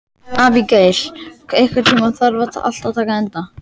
Abigael, einhvern tímann þarf allt að taka enda.